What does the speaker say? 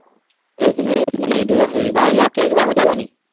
এইখিনিয়ে মানে ঈদৰ হেৰি। বাকী আৰু কিবা সুধিব নেকি?